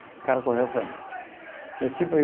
O cara correu foi embora.